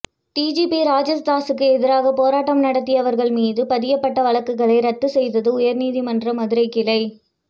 DGP ராஜேஷ்தாஸூக்கு எதிராக போராட்டம் நடத்தியவர்கள் மீது பதியப்பட்ட வழக்குகளை ரத்து செய்தது உயர்நீதிமன்ற மதுரை கிளை